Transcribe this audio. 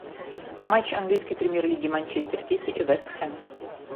матч английской премьер лиги манчестер сити и вест хэм